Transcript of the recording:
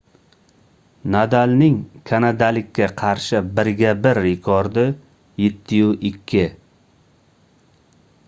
nadalning kanadalikka qarshi birga-bir rekordi 7-2